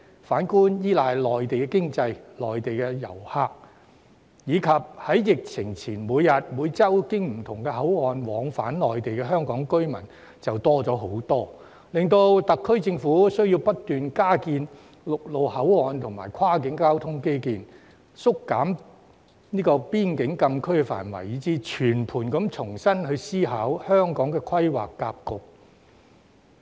反之，依賴內地經濟、內地旅客，以及在疫情前每天、每周經不同口岸往返內地的香港居民人數大增，令特區政府需要不斷加建陸路口岸及跨境交通基建、縮減邊境禁區範圍，以至全盤重新思考香港規劃發展格局。